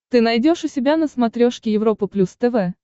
ты найдешь у себя на смотрешке европа плюс тв